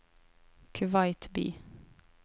Kuwait by